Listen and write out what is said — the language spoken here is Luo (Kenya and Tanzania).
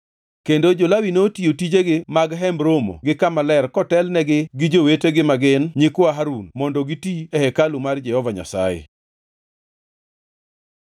Kendo jo-Lawi notiyo tijegi mag Hemb Romo gi Kama Ler kotelnegi gi jowetegi ma gin nyikwa Harun mondo giti e hekalu mar Jehova Nyasaye.